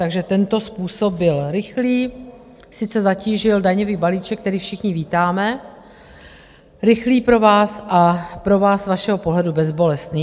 Takže tento způsob byl rychlý - sice zatížil daňový balíček, který všichni vítáme - rychlý pro vás a pro vás z vašeho pohledu bezbolestný.